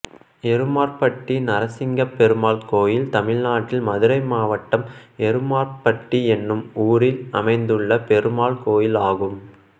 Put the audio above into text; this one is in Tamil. எருமார்பட்டி நரசிங்கப் பெருமாள் கோயில் தமிழ்நாட்டில் மதுரை மாவட்டம் எருமார்பட்டி என்னும் ஊரில் அமைந்துள்ள பெருமாள் கோயிலாகும்